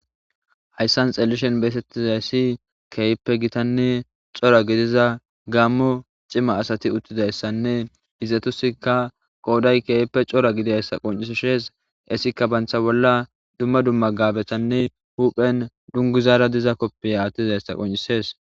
Hayssan xellishen beetettizayssi keeyppe gitanne cora gidiza gaammo cima asati uttidayssanne hizatusikka qooday keeyppe cora gidiayssa qoncisishees esikka bantha bolla dumma dumma gabetanne huphen dunguzaara diza koppiya attizayssa qoncises.